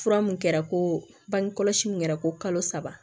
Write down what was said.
Fura mun kɛra ko bangekɔlɔsi min kɛra ko kalo saba